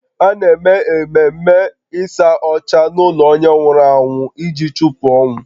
A na-eme ememe ịsa ọcha n’ụlọ onye nwụrụ anwụ iji chụpụ ọnwụ